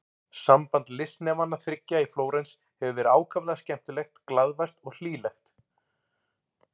Samband listnemanna þriggja í Flórens hefur verið ákaflega skemmtilegt, glaðvært og hlýlegt.